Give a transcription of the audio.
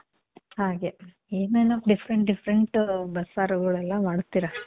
ಹಾಗೆ. ಏನೇನೋ different different ಬಸ್ಸಾರುಗಳೆಲ್ಲ ಮಾಡ್ತೀರ.